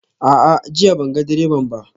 A'a, jiya ban ga direban ba